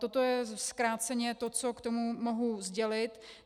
Toto je zkráceně to, co k tomu mohu sdělit.